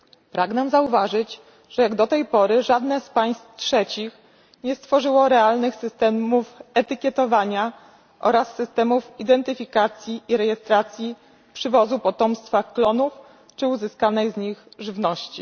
Pragnę zauważyć, że jak do tej pory żadne z państw trzecich nie stworzyło realnych systemów etykietowania oraz systemów identyfikacji i rejestracji przywozu potomstwa klonów czy uzyskanej z nich żywności.